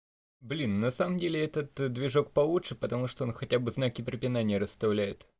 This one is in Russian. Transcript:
блин на самом деле этот движок получше потому что он хотя бы знаки препинания расставляет